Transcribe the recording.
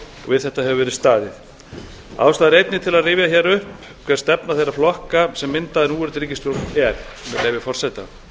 við þetta hefur verið staðið ástæða er einnig til að rifja hér upp hver stefna þeirra flokka sem mynda núverandi ríkisstjórn er með leyfi forseta